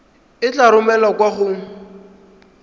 e tla romelwa kwa go